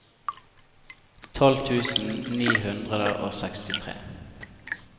tolv tusen ni hundre og sekstitre